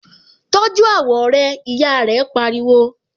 Tọ́jú àwọ̀ rẹ! Ìyá rẹ pariwo.